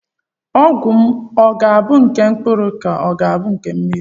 Ọgwụ m ọ ga-abụ nke mkpụrụ ka ọ bụ nke mmiri?